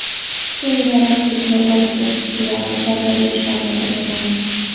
Senga raqibni uloqtirish usullari, zarba berishlarni o‘rgatamiz.